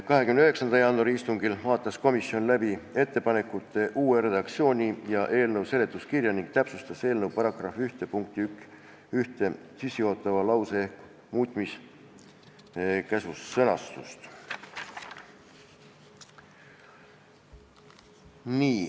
29. jaanuari istungil vaatas komisjon läbi ettepanekute uue redaktsiooni ja eelnõu seletuskirja ning täpsustas eelnõu § 1 punkti 1 sissejuhatava lause muutmiskäsu sõnastust.